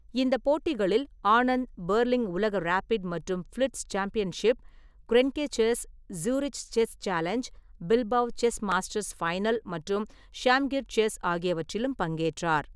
இந்த போட்டிகளில், ஆனந்த் பெர்லின் உலக ரேபிட் மற்றும் blitz championship, Grenke chess, Zurich chess challenge, Bilbao chess masters final மற்றும் ஷாம்கிர் செஸ் ஆகியவற்றிலும் பங்கேற்றார்.